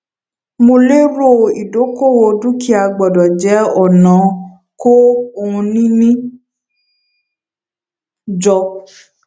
mo lérò ìdókòwò dúkìá gbọdọ jẹ ọnà kó ohunìní jọ